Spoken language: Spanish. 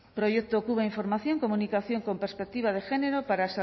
proyecto cuba información comunicación con perspectiva de género para